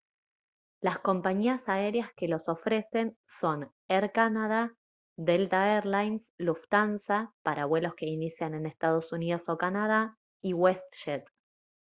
las compañías aéreas que los ofrecen son air canada delta air lines lufthansa para vuelos que inician en ee uu o canadá y westjet